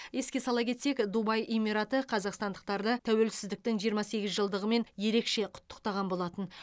еске сала кетсек дубай эмираты қазақстандықтарды тәуелсіздіктің жиырма сегіз жылдығымен ерекше құттықтаған болатын